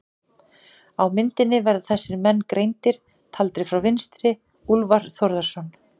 Á myndinni verða þessir menn greindir, taldir frá vinstri: Úlfar Þórðarson